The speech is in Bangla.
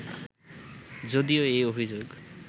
যদিও এই অভিযোগ